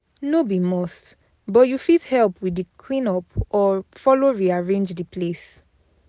No be must but you fit help with di clean up or follow rearrange the place